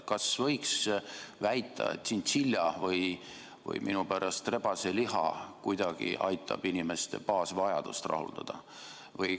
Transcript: Kas võiks väita, et tšintšilja- või minu pärast rebaseliha kuidagi aitab inimeste baasvajadusi rahuldada?